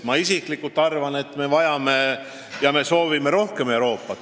Ma isiklikult arvan, et me vajame ja soovime rohkem Euroopat.